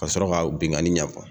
Ka sɔrɔ ka binkani ɲɛ fɔ!